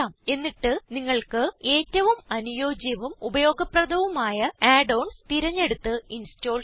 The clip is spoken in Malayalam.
എന്നിട്ട് നിങ്ങൾക്ക് ഏറ്റവും അനുയോജ്യവും ഉപയോഗപ്രദവുമയ add ഓൺസ് തിരഞ്ഞെടുത്ത് ഇൻസ്റ്റോൾ ചെയ്യാം